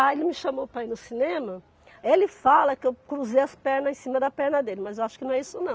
Ele me chamou para ir no cinema, ele fala que eu cruzei as pernas em cima da perna dele, mas eu acho que não é isso não.